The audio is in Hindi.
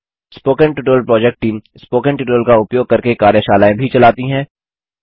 spoken tutorial project team spoken tutorial का उपयोग करके कार्यशालाएँ भी चलाती है